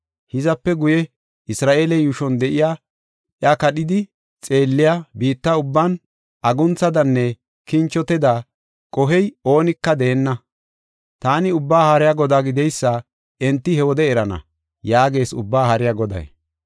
Hizape guye Isra7eele yuushon de7iya, iya kadhidi xeelliya, biitta ubban aguntha melanne kinchote mela qohiya oonika deenna. Taani Ubbaa Haariya Godaa gideysa enti he wode erana” yaagees Ubbaa Haariya Goday.